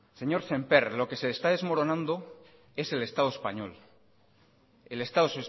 señor sémper lo que se está desmoronando es el estado español el estado